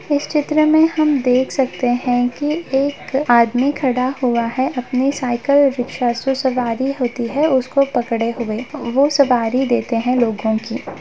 इस चित्र में हम देख सकते हैं कि एक आदमी खड़ा हुआ है अपनी साइकिल रिक्शा से सवारी होती है उसको पकड़े हुए वो सवारी देते है लोगों की।